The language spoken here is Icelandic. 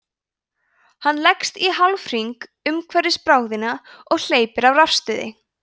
hann leggst í hálfhring umhverfis bráðina og hleypir af rafstuði